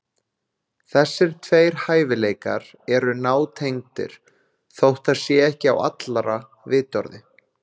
Þessir tveir hæfileikar eru nátengdir, þótt það sé ekki á allra vitorði.